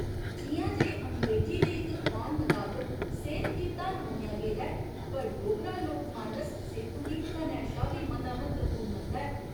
जि'यां जे अंग्रेजी दे इक खोआन मताबक सेह्त गी धन मन्नेआ गेदा ऐ, पर डोगरा लोकमानस सेह्तू गी धनै शा बी मता म्हत्तवपूर्ण मनदा ऐ।